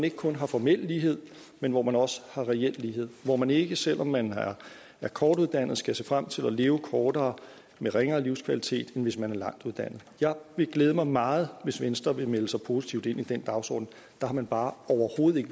ikke kun har formel lighed men hvor man også har reel lighed hvor man ikke selv om man er kortuddannet skal se frem til at leve kortere og med ringere livskvalitet end hvis man har en lang uddannelse jeg vil glæde mig meget hvis venstre vil melde sig positivt ind i den dagsorden der har man bare overhovedet ikke